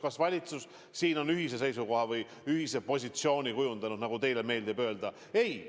Kas valitsus on ühise seisukoha või ühise positsiooni kujundanud, nagu teile meeldib öelda?